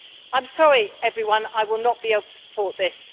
I am sorry, everyone I will not be able to support this.